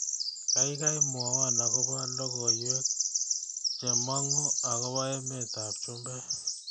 Gaigai mwowon agoba logoywek chemangu agoba emetab chumbek